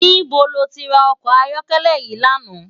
Nibó ló ti rá òkò àyòkèlè yi làná?